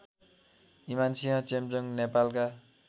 ईमानसिंह चेम्जोङ नेपालका